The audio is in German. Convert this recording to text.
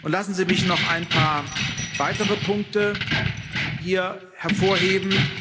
Lassen Sie mich noch ein paar weitere Punkte hier hervorheben.